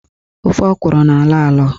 Ofe ọkwụrụ na-alọ alọ.